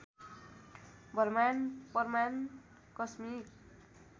ब्रह्माण्ड प्रमाण कस्मिक